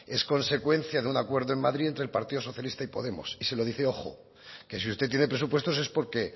es consecuencia de un acuerdo en madrid entre el partido socialista y podemos y si lo dice ojo que si usted tiene presupuestos es porque